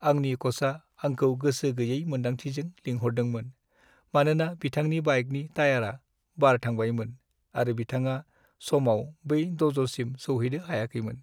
आंनि क'चआ आंखौ गोसो गैयै मोन्दांथिजों लिंहरदोंमोन, मानोना बिथांनि बाइकनि टायारा बार थांबायमोन आरो बिथाङा समाव बै दज'सिम सौहैनो हायाखैमोन।